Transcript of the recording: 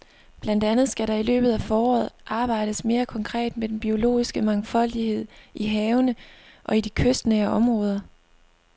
Blandt andet skal der i løbet af foråret arbejdes mere konkret med den biologiske mangfoldighed i havene og i de kystnære områder.